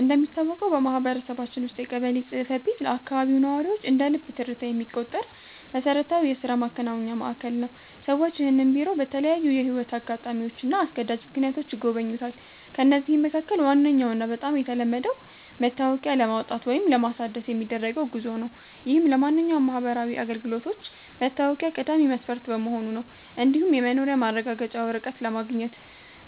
እንደሚታወቀው በማህበረሰባችን ውስጥ የቀበሌ ጽሕፈት ቤት ለአካባቢው ነዋሪዎች እንደ ልብ ትርታ የሚቆጠር መሠረታዊ የሥራ ማከናወኛ ማዕከል ነው። ሰዎች ይህንን ቢሮ በተለያዩ የሕይወት አጋጣሚዎችና አስገዳጅ ምክንያቶች ይጎበኙታል። ከነዚህም መካከል ዋነኛውና በጣም የተለመደው መታወቂያ ለማውጣት ወይም ለማሳደስ የሚደረገው ጉዞ ነው፤ ይህም ለማንኛውም ማህበራዊ አገልግሎት መታወቂያ ቀዳሚ መስፈርት በመሆኑ ነው። እንዲሁም የመኖሪያ ማረጋገጫ ወረቀት ለማግኘት